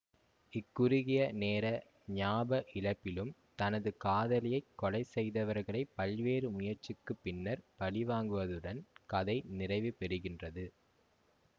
இக் குறுகிய நேர ஞாப இழப்பிலும் தனது காதலியைக் கொலைசெய்தவர்களை பல்வேறு முயற்சிக்குப் பின்னர் பழிவாங்குவதுடன் கதை நிறைவு பெறுகின்றது